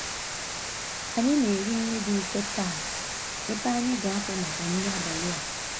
Anyị na-eri nri dị mfe taa ebe anyị ga-apụ màkà nri abalị a.